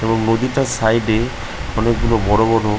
এই নদী টার সাইড এ অনেক গুলো বড় বড়--